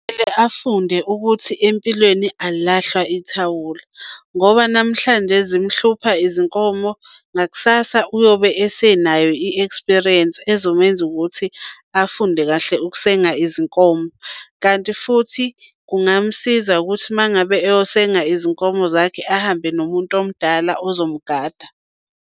Mele afunde ukuthi empilweni alilahlwa ithawula ngoba namhlanje zimhlupha izinkomo ngakusasa uyobe esenayo i-experience ezomenza ukuthi afunde kahle ukusenga izinkomo. Kanti futhi kungamsiza ukuthi uma ngabe eyosenga izinkomo zakhe ahambe nomuntu omdala ozomgada.